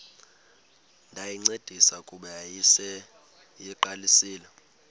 ndayincedisa kuba yayiseyiqalisile